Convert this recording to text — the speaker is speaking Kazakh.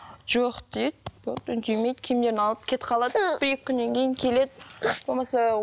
жоқ дейді болды үндемейді киімдерін алып кетіп қалады бір екі күннен кейін келеді болмаса